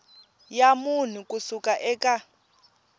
ya munhu ku suka eka